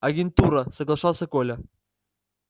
агентура соглашался коля